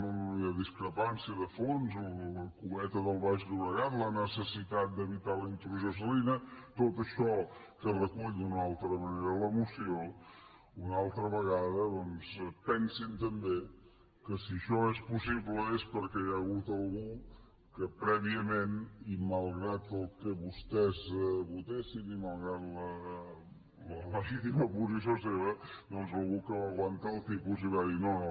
no no no hi ha discrepància de fons la cueta del baix llobregat la necessitat d’evitar la intrusió salina tot això que recull d’una altra manera la moció una altra vegada doncs pensin també que si això és possible és perquè hi ha hagut algú que prèviament i malgrat el que vostès votessin i malgrat la legítima posició seva doncs algú que va aguantar el tipus i va dir no no